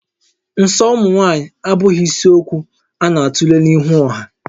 Nsọ ụmụ nwaanyị abụghị isiokwu a na-atule n'ihu ọha